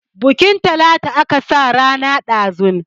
Bunkin Talatu aka sa rana ɗazun.